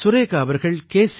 சுரேகா அவர்கள் கே